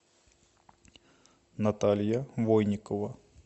наталья войникова